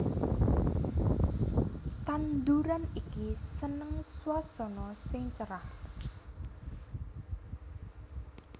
Tanduran iki seneng swasana sing cerah